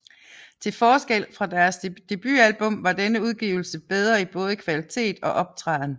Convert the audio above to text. Til forskel fra deres debutalbum var denne udgivelse bedre i både kvalitet og optræden